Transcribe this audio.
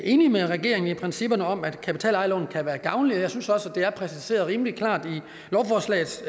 enig med regeringen i principperne om at kapitalejerlån kan være gavnlige og jeg synes også det er præciseret rimelig klart i lovforslagets